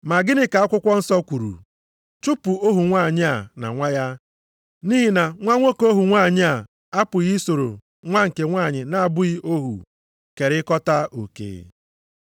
Ma gịnị ka akwụkwọ nsọ kwuru? “Chụpụ ohu nwanyị a na nwa ya, nʼihi na nwa nwoke ohu nwanyị a apụghị isoro nwa nke nwanyị na-abụghị ohu kerikọta oke.” + 4:30 \+xt Jen 21:10\+xt*